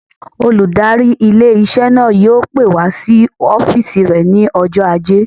Olùdarí ilé-iṣẹ́ náà yóò pè wá sí ọ́fìsì rẹ̀ ní ọjọ́ ajé